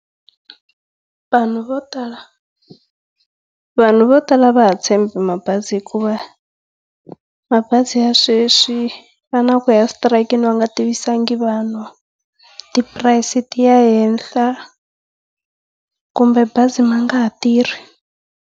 Vanhu vo tala vanhu vo tala a va ha tshembi mabazi hikuva mabazi ya sweswi ya na kuya exitirayikini va nga tivisanga vanhu, tipurayisi ti ya ehenhla, kumbe bazi ma nga ha tirhi.